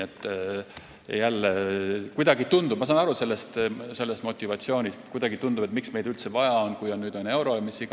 Ma saan küll aru sellisest motivatsioonist – tundub, et miks meid üldse vaja on, kui nüüd on euro jne.